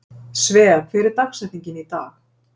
Svea, hver er dagsetningin í dag?